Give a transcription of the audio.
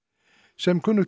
sem kunnugt